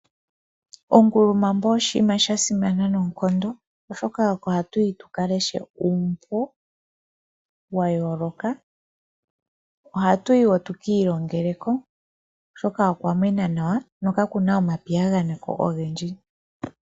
Ongulumambo oshini sha simana noonkondo, oshoka oko haku yiwa aantu ya ka leshe uumbo wayooloka. Ohaku vulu okuleshelwa, oshoka okwa mwena nawa ko kakuna omapiyaganeko ogendji.